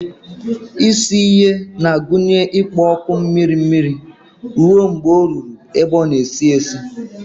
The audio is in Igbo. Isi ihe na-agụnye ikpo ọkụ mmiri mmiri ruo mgbe ọ ruru ebe ọ na-esi esi.